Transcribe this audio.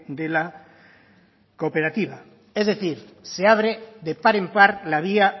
de la cooperativa es decir se abre de par en par la vía